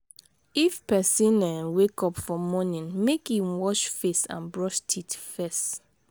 if person um wake up for morning make in wash face and brush teeth first